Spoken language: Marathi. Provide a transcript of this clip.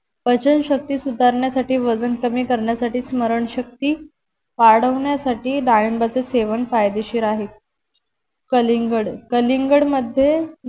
पचनशक्ती सुधारण्यासाठी वजन कमी करण्यासाठी स्मरण शक्ति वाढवण्यासाथी डाळींबाचे सेवन फायदेशीर आहे कलिंगड कलिंगड मध्ये